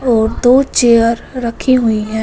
और दो चेयर रखी हुई है।